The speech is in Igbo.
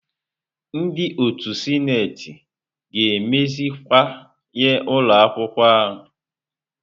Ndị otu sineti ga-emeziwanye ụlọ akwụkwọ ahụ.